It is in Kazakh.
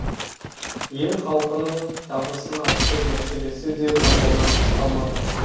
ел халқының табысын арттыру мәселесі де назарынан тыс қалмады